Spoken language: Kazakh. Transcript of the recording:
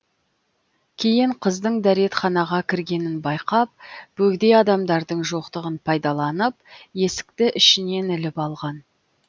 кейін қыздың дәретханаға кіргенін байқап бөгде адамдардың жоқтығын пайдаланып есікті ішінен іліп алған